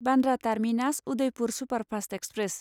Bandra terminus Udaipur superfast express